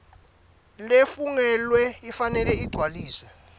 lefungelwe ifanele igcwaliswe